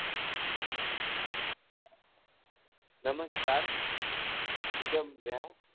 નમસ્કાર નિગમ જા